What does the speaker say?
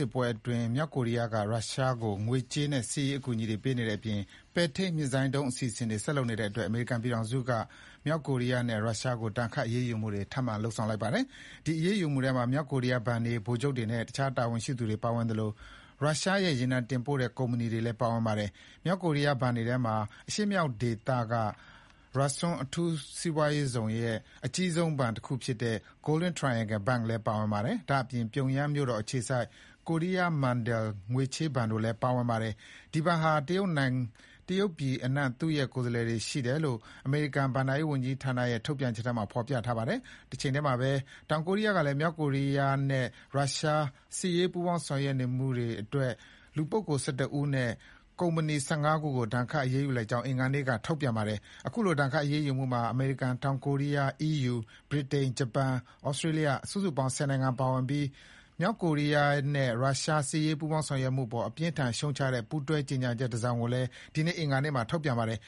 စ်ပွဲအတွင်း မြောက်ကိုရီးယားက ရုရှားကို ငွေကြေးနဲ့စစ်ရေးအကူအညီတွေ ပေးနေတဲ့အပြင် ပဲ့ထိန်းမစ်ဇိုင်းဒုံးအစီအစဉ်တွေဆက်လုပ်နေတဲ့အတွက် အမေရိကန်ပြည်ထောင်စုက မြောက်ကိုရီးယားနဲ့ ရုရှားကို ထပ်ပြီးတော့ ဒဏ်ခတ်အရေးယူလိုက်ပါတယ်။ ဒီအရေးယူမှုထဲမှာ မြောက်ကိုရီးယား ဘဏ်တွေ၊ ဗိုလ်ချုပ်တွေနဲ့ အခြားတာဝန်ရှိသူတွေပါဝင်သလို ရုရှားရဲ့ ရေနံတင်ပို့တဲ့ကုမ္ပဏီတွေလည်းပါဝင်ပါတယ်။ မြောက်ကိုရီးယားဘဏ်တွေထဲမှာ အရှေ့မြောက်ဒေသက Rason အထူးစီးပွားရေးဇုံရဲ့ အကြီးဆုံးဘဏ်ဖြစ်တဲ့ Golden Triangle Bank လည်းပါဝင်ပါတယ်။ ဒါ့အပြင် ပြုံယမ်းမြို့တော်အခြေစိုက် Korea Mandal ချေးငွေဘဏ်လည်း ပါဝင်ပါတယ်။ ဒီဘဏ်ဟာ တရုတ်ပြည်အနှံ့ သူ့ရဲ့ ကိုယ်စားလှယ်တွေရှိတယ်လို့ အမေရိကန် ဘဏ္ဍာ ရေးဝန်ကြီးဌာနရဲ့ထုတ်ပြန်ချက်ထဲမှာဖေါ်ပြထားပါတယ်။ တချိန်တည်းမှာပဲ တောင်ကိုရီးယားကလည်း မြောက်ကိုရီးယားနဲ့ ရုရှား စစ်ရေးပူးပေါင်းဆောင်ရွက် နေတဲ့အတွက် လူပုဂ္ဂိုလ် ၁၁ ဦးနဲ့ ကုမ္ပဏီ ၁၅ ခုကိုဒဏ်ခတ်ရေးယူလိုက်ကြောင်း အင်္ဂါနေ့က ထုတ်ပြန်ပါတယ်။ အခုလိုဒဏ်ခတ်ရေးယူမှုမှာ အမေရိကန်၊ တောင်ကိုရီးယား၊ EU ၊ ဗြိတိန်၊ ဂျပန်၊ သြစတြေးလျား စုစုပေါင်း ၁၀ နိုင်ငံပါဝင်ပြီး မြောက်ကိုရီးယားနဲ့ရုရှား စစ်ရေးပူးပေါင်းဆောင်ရွက်မှုပေါ် အပြင်းအထန် ရှုတ်ချတဲ့ ပူးတွဲကြေညာချက်တစောင်ကိုလည်း ဒီကနေ့အင်္ဂါနေ့မှာထုတ်ပြန်ပါတယ်